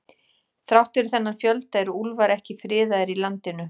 Þrátt fyrir þennan fjölda eru úlfar ekki friðaðir í landinu.